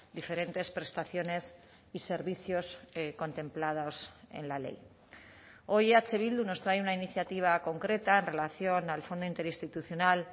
diferentes prestaciones y servicios contemplados en la ley hoy eh bildu nos trae una iniciativa concreta en relación al fondo interinstitucional